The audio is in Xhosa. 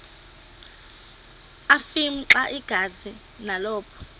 afimxa igazi nalapho